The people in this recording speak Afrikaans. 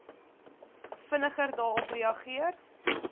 vinniger daarop reageer